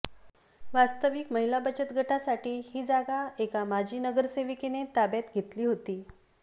वास्तविक महिला बचत गटासाठी ही जागा एका माजी नगरसेविकेने ताब्यात घेतली होती